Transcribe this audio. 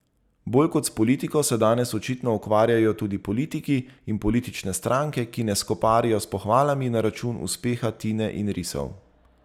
Bolj kot s politiko se danes očitno ukvarjajo tudi politiki in politične stranke, ki ne skoparijo s pohvalami na račun uspeha Tine in Risov.